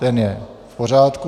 To je v pořádku.